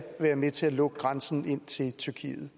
være med til at lukke grænsen ind til tyrkiet